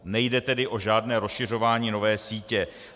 Nejde tedy o žádné rozšiřování nové sítě.